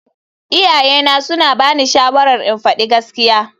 Iyayena suna bani shawarar in faɗi gaskiya.